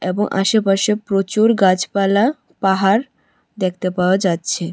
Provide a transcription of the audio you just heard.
এবং আশেপাশে প্রচুর গাছপালা পাহাড় দেখতে পাওয়া যাচ্ছে।